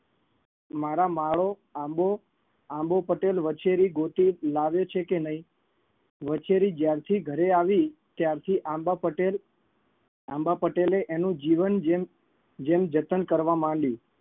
મારા માળો આંબો આંબો પટેલ વછેરી ગોતી લાવ્યો છે કે નઈ વછેરી જ્યારથી ઘરે આવી ત્યારથી આંબા પટેલ આંબા પટેલે એનું જીવન જેમ જેમ જતન કરવા માંડ્યું